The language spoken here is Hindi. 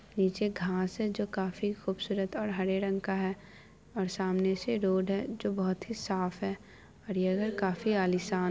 पीछे घांस है जो काफी खूबसूरत हरे रंग का है । सामने से रोड है जो बहुत ही साफ है और ये घर काफी आलीशान--